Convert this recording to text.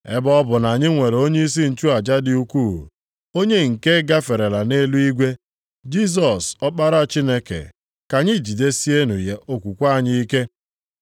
Ebe ọ bụ na anyị nwere onyeisi nchụaja dị ukwuu, onye nke gaferela nʼeluigwe, Jisọs Ọkpara Chineke, ka anyị jidesienụ okwukwe anyị ike.